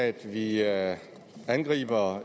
i at